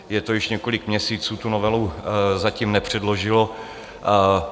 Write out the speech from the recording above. Je to již několik měsíců, tu novelu zatím nepředložilo.